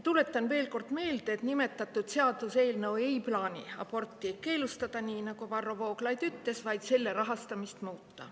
Tuletan veel kord meelde, et nii nagu Varro Vooglaid ütles, ei plaanita selle seaduseelnõuga aborti keelustada, vaid muuta selle rahastamist.